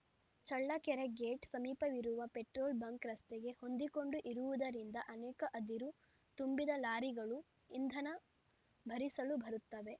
Challakere gate ಸಮೀಪವಿರುವ petrol bunk ರಸ್ತೆಗೆ ಹೊಂದಿಕೊಂಡು ಇರುವುದರಿಂದ ಅನೇಕ ಅದಿರು ತುಂಬಿದ ಲಾರಿಗಳು ಇಂಧನ ಭರಿಸಲು ಬರುತ್ತವೆ